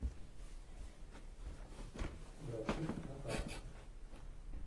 графит на карте